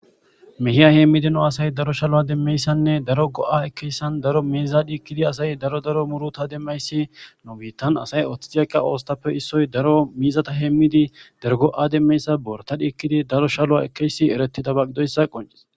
Mehiya hemidi nu asay daro shaluwa demiyaysanne daro go'a ekiyaysa daro miza dhikidi asay daro daro muruta demiyaysi nu bitan asay othidi aqiya osotappe isoy daro mizata hemidi daro go'za demiyaysa borata dhikidi daro shaluwa ekiyaysi eretidaba gidoysa qonc'ses.